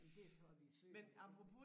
Jamen det er så er vi født og det